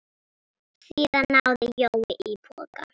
Síðan náði Jói í poka.